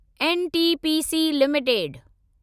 NTPC limited